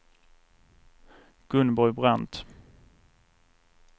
Gunborg Brandt